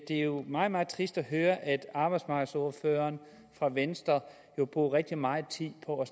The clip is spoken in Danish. det jo er meget meget trist at høre at arbejdsmarkedsordføreren fra venstre bruger rigtig meget tid på